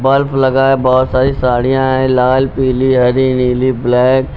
Bulb लगा है बहुत सारी साड़ियां हैं लाल पीली हरी नीली ब्लैक ।